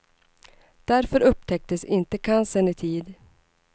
Därför upptäcktes inte cancern i tid.